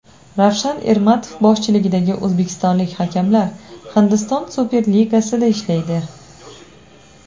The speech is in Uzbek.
Ravshan Ermatov boshchiligidagi o‘zbekistonlik hakamlar Hindiston Superligasida ishlaydi.